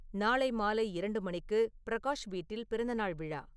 நாளை மாலை இரண்டு மணிக்கு பிரகாஷ் வீட்டில் பிறந்தநாள் விழா